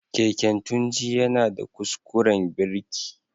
Keken Tunji yana da kuskuren birki.